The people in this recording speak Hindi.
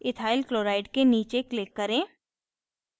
ethyl chloride के नीचे click करें